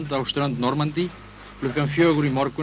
á strönd Normandí klukkan fjögur í morgun